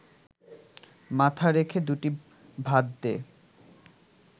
মাথা রেখে দুটি ভাত দে